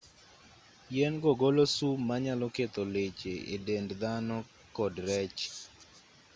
yien go golo sum ma nyalo ketho leche e dend dhano kod rech